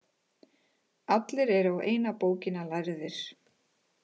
Allir eru á eina bókina lærðir.